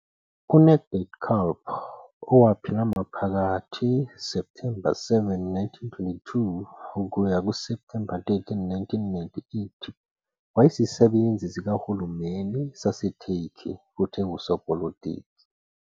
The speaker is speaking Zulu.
UNecdet Calp owaphila phakathi kuSepthemba 7, 1922 - Septhemba 13, 1998, wayeyisisebenzi sikahulumeni saseTurkey futhi engusopolitiki.